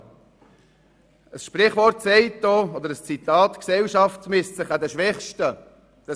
Ein Sprichwort oder ein Zitat sagt, dass sich eine Gesellschaft an den Schwächsten messen lasse.